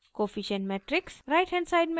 right hand side matrix